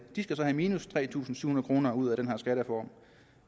de skal så have minus tre tusind syv hundrede kroner ud af den her skattereform